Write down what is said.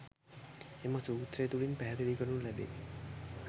එම සූත්‍රය තුළින් පැහැදිලි කරනු ලැබේ.